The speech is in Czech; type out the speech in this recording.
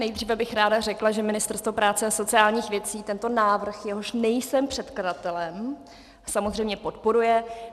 Nejdříve bych ráda řekla, že Ministerstvo práce a sociálních věcí tento návrh, jehož nejsem předkladatelem, samozřejmě podporuje.